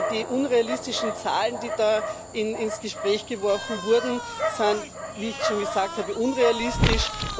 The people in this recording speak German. Die unrealistischen Zahlen, die da in ins Gespräch geworfen wurden, sind wie ich schon gesagt habe unrealistisch.